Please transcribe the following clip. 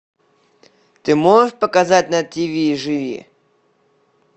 ты можешь показать на тиви живи